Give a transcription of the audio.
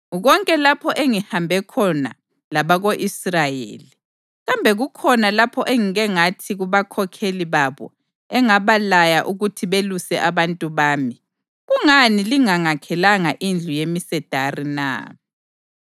Konke lapho engihambe khona labako-Israyeli, kambe kukhona lapho engike ngathi kubakhokheli babo engabalaya ukuthi beluse abantu bami, “Kungani lingangakhelanga indlu yemisedari na?” ’